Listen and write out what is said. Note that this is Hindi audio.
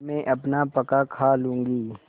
मैं अपना पकाखा लूँगी